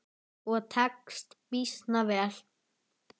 Og tekst býsna vel.